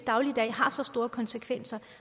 dagligdag har så store konsekvenser